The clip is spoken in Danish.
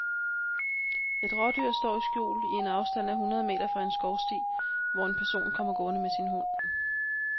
Et rådyr står i skjul i en afstand af hundrede meter fra en skovsti, hvor en person kommer gående med sin hund.